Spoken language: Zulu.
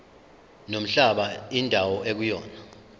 nomhlaba indawo ekuyona